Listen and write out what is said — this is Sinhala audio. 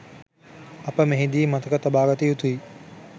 අප මෙහිදී මතක තබාගත යුතුයි.